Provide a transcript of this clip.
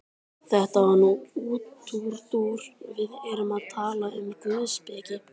Þetta var nú útúrdúr, við erum að tala um guðspeki.